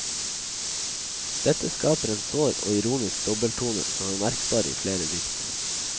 Dette skaper en sår og ironisk dobbelttone, som er merkbar i flere dikt.